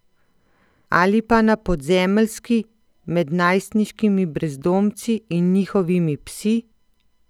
Ali pa na podzemeljski, med najstniškimi brezdomci in njihovimi psi?